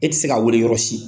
E tɛ se ka wele yɔrɔ si.